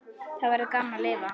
Þá verður gaman að lifa.